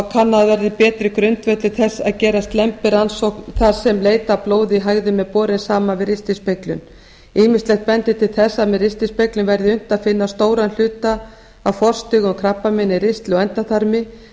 kannaður verði betri grundvöllur þess að gera slembirannsókn þar sem leit að blóði í hægðum er borin saman við ristilspeglun ýmislegt bendir til þess að með ristilspeglun verði unnt að finna stóran hluta af forstig í krabbameini í ristli og endaþarmi en